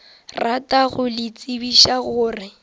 rata go le tsebiša gore